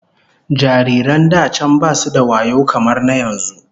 Babies in the past weren't as intelligent as the ones in present times